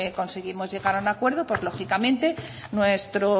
conseguimos llegar a un acuerdo pues lógicamente nuestro